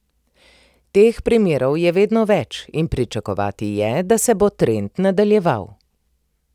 Teh primerov je vedno več in pričakovati je, da se bo trend nadaljeval.